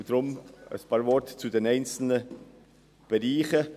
Deshalb ein paar Worte zu den einzelnen Bereichen.